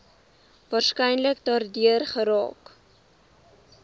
waarskynlik daardeur geraak